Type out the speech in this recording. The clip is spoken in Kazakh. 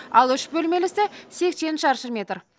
ал үш бөлмелісі сексен шаршы метр